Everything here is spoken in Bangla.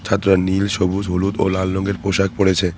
ছাত্ররা নীল সবুজ হলুদ ও লাল রঙের পোশাক পড়েছে।